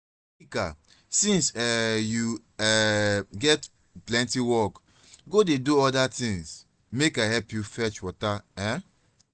chika since um you um get plenty work go dey do other things make i help you fetch water um